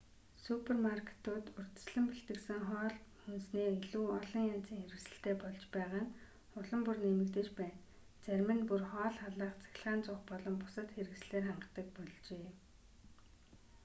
супермаркетууд урьдчилан бэлтгэсэн хоол хүнсний илүү олон янзын хэсэгтэй болж байгаа нь улам бүр нэмэгдэж байна зарим нь бүр хоол халаах цахилгаан зуух болон бусад хэрэгслээр хангадаг болжээ